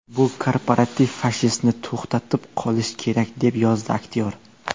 Bu korporativ fashistni to‘xtatib qolish kerak”, - deb yozdi aktyor.